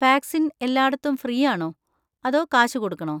Vaccine എല്ലാടത്തും free ആണോ, അതോ കാശ് കൊടുക്കണോ?